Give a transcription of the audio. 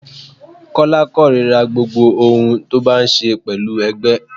Kọ́lá korira gbogbo ohun tó bá ní ṣe pẹ̀lú ẹgbẹ́.